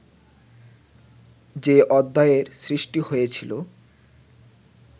যে অধ্যায়ের সৃষ্টি হয়েছিল